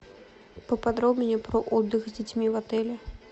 поподробнее про отдых с детьми в отеле